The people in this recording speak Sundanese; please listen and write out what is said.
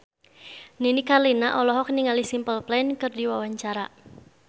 Nini Carlina olohok ningali Simple Plan keur diwawancara